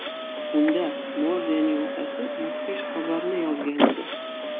Unda Morzening otasi mudhish xabarni yozgan edi.